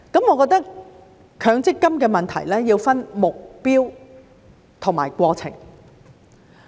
我認為強積金的問題要分目標和過程。